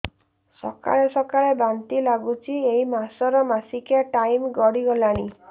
ସକାଳେ ସକାଳେ ବାନ୍ତି ଲାଗୁଚି ଏଇ ମାସ ର ମାସିକିଆ ଟାଇମ ଗଡ଼ି ଗଲାଣି